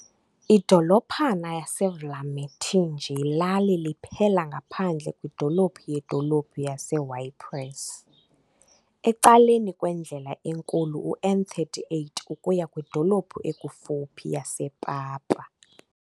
Idolophana yaseVlamertinge yilali liphela ngaphandle kwidolophu yedolophu yaseYpres, ecaleni kwendlela enkulu uN38 ukuya kwidolophu ekufuphi yasePapa.